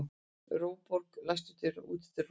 Róbjörg, læstu útidyrunum.